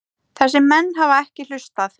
Þessir menn hafa ekki hlustað.